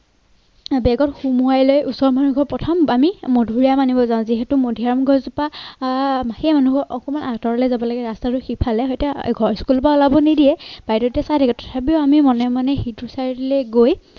বেগত সুমুৱাই লৈ ঘৰত প্ৰথম আমি মধুৰী আম আনিব যাওঁ যিহেতু মধুৰী আম গছজোপা সেই অকমান আতৰলে যাব লাগে ৰাস্তাটো সিফালে সৈতে school ৰ পৰা ওলাব নিদিয়ে বাইদেউৱে চাই থাকে, তথাপিও আমি মনে মনে সিটো side লে গৈ